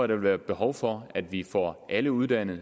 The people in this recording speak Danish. der vil være behov for at vi får alle uddannet